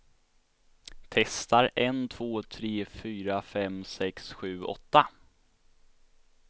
Testar en två tre fyra fem sex sju åtta.